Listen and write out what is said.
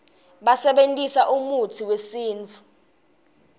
basebentisa umutsi wesintfu